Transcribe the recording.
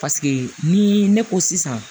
Paseke ni ne ko sisan